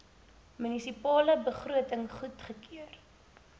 munisipale begroting goedgekeur